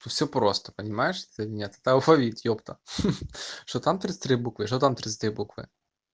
все просто понимаешь это или нет это алфавит епта что там тридцать три буквы что там тридцать буквы